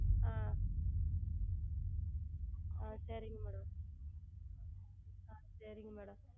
ஆஹ் ஆஹ் சரிங்கள் Madam ஆஹ் சரிங்கள் Madam